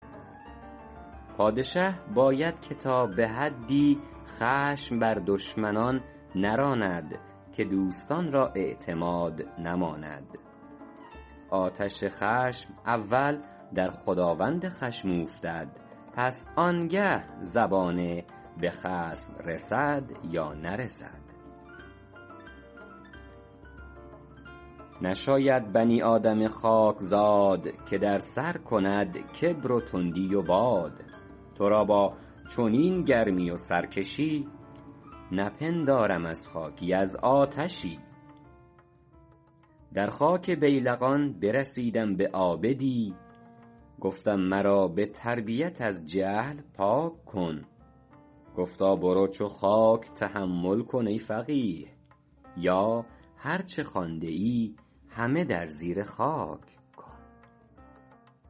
پادشه باید که تا به حدی خشم بر دشمنان نراند که دوستان را اعتماد نماند آتش خشم اول در خداوند خشم اوفتد پس آنگه زبانه به خصم رسد یا نرسد نشاید بنی آدم خاکزاد که در سر کند کبر و تندی و باد تو را با چنین گرمی و سرکشی نپندارم از خاکی از آتشی در خاک بیلقان برسیدم به عابدی گفتم مرا به تربیت از جهل پاک کن گفتا برو چو خاک تحمل کن ای فقیه یا هر چه خوانده ای همه در زیر خاک کن